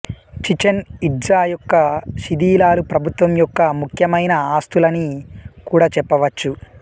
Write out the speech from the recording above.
Chichen Itza యొక్క శిధిలాలు ప్రభుత్వం యోక్క ముఖ్యమైన ఆస్తులని కూడా చెప్పవచు